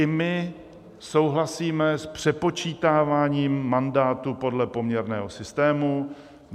I my souhlasíme s přepočítáváním mandátů podle poměrného systému.